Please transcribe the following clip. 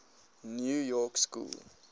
new york school